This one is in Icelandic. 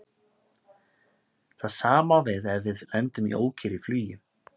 Það sama á við ef við lendum í ókyrrð í flugi.